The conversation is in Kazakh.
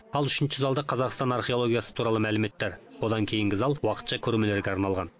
ал үшінші залда қазақстан археологиясы туралы мәліметтер одан кейінгі зал уақытша көрмелерге арналған